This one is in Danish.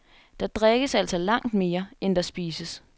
Der drikkes altså langt mere, end der spises.